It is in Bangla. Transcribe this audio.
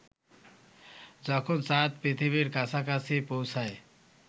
যখন চাঁদ পৃথিবীর কাছাকাছি পৌঁছায়